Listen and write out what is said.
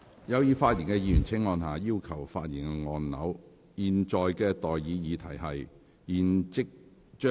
有意發言的議員請按下"要求發言"按鈕。